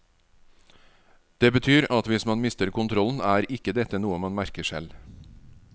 Det betyr at hvis man mister kontrollen er ikke dette noe man merker selv.